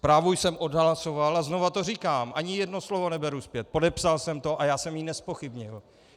Zprávu jsem odhlasoval a znovu to říkám, ani jedno slovo neberu zpět, podepsal jsem to a já jsem ji nezpochybnil.